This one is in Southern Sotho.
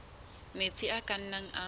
metsi a ka nnang a